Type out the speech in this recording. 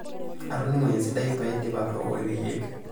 Atoning'o esidai paidim atooko ilkeek.